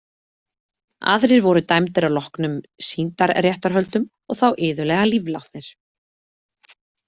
Aðrir voru dæmdir að loknum sýndarréttarhöldum og þá iðulega líflátnir.